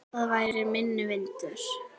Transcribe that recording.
Þar væri minni vindur.